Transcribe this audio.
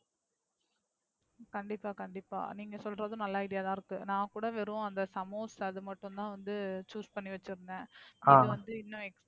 கண்டிப்பா கண்டிப்பா நீங்க சொல்றது நல்ல Idea ஆ தான் இருக்கு. நான் கூட வெறு அந்த சமோஸ் அது மட்டும் தான் வந்து Choose பண்ணி வச்சு இருந்தேன். அது வந்து இன்னும்